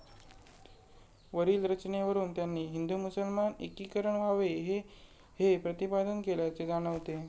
वरील रचनेवरून त्यांनी हिंदू मुसलमान एकीकरण व्हावे हे हे प्रतिपादन केल्याचे जाणवते